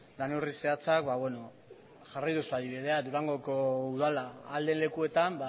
lan neurri zehatzak ba beno jarri duzu adibidea durangoko udala ahal den lekuetan